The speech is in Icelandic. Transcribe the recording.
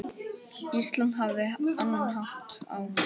Ísland hafði annan hátt á.